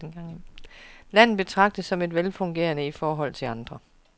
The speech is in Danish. Landet betragtes som velfungerende i forhold til andre.